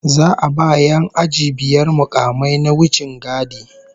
Za'a ba 'yan aji biyar mukamai na wichingadi